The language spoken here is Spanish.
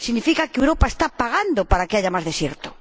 ¡Significa que Europa está pagando para que haya más desierto!